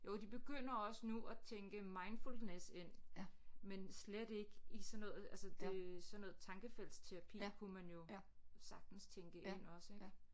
Jo de begynder også nu at tænke mindfulness ind men slet ikke i sådan noget altså det sådan noget tankefeltterapi kunne man jo sagtens tænke ind også ik